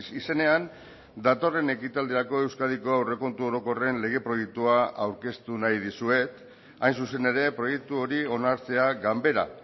izenean datorren ekitaldirako euskadiko aurrekontu orokorren lege proiektua aurkeztu nahi dizuet hain zuzen ere proiektu hori onartzea ganbera